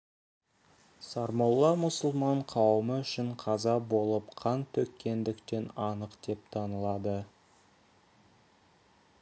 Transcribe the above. сармолла мұсылман қауымы үшін қаза болып қан төккендіктен анық деп танылады